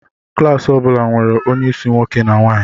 Klas ọ bụla nwere onye isi nwoke na nwaanyi.